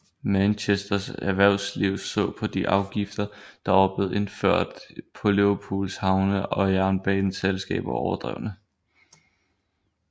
Manchesters erhvervsliv så på de afgifter der var blevet indført på Liverpools havne og jernbaneselskaber overdrevne